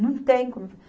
Não tem como.